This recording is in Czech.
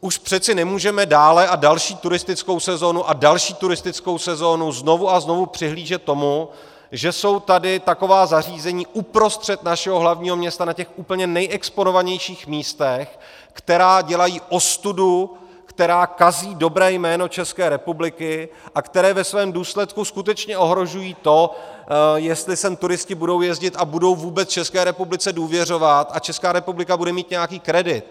Už přece nemůžeme dále a další turistickou sezónu a další turistickou sezónu, znovu a znovu přihlížet tomu, že jsou tady taková zařízení uprostřed našeho hlavního města, na těch úplně nejexponovanějších místech, která dělají ostudu, která kazí dobré jméno České republiky a která ve svém důsledku skutečně ohrožují to, jestli sem turisté budou jezdit a budou vůbec České republice důvěřovat a Česká republika bude mít nějaký kredit.